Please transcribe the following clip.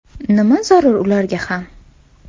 Nima zarur ularga ham?